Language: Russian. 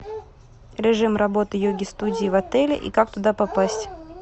режим работы йоги студии в отеле и как туда попасть